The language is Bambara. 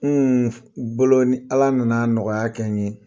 Hun u boloni Ala nana nɔgɔya kɛ n ye